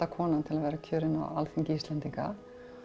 konan til að vera kjörin á Alþingi Íslendinga